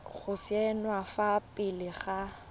go saenwa fa pele ga